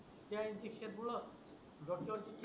त्या इंजेक्शन पूड डॉक्टर